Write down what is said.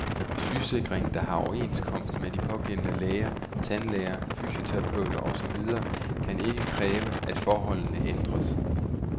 Sygesikringen, der har overenskomst med de pågældende læger, tandlæger, fysioterapeuter og så videre, kan ikke kræve, at forholdene ændres.